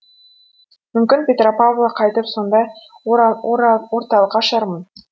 мүмкін петропавлға қайтып сондай орталық ашармын